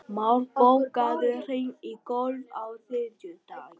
Már, bókaðu hring í golf á þriðjudaginn.